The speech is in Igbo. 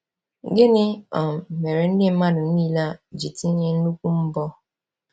Gịnị um mere ndị mmadụ niile a ji tinye nnukwu mbọ?